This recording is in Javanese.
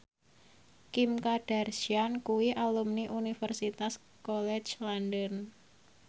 Kim Kardashian kuwi alumni Universitas College London